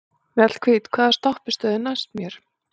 Mjallhvít, hvaða stoppistöð er næst mér?